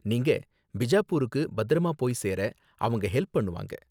நீங்க பிஜாப்பூருக்கு பத்திரமா போய் சேர அவங்க ஹெல்ப் பண்ணுவாங்க.